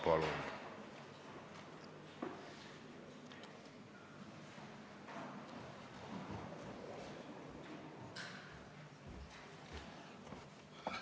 Palun!